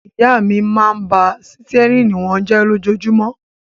Ìyá mi máa ń bá sítẹ́rínì wọn jẹ lójoojúmọ́.